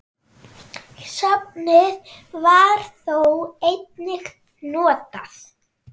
Safnið var þó einnig notað.